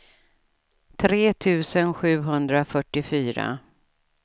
tre tusen sjuhundrafyrtiofyra